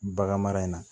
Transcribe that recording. Bagan mara in na